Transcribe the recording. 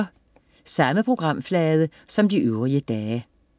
Samme programflade som de øvrige dage